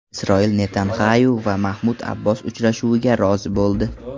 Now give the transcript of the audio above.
Isroil Netanyaxu va Mahmud Abbos uchrashuviga rozi bo‘ldi.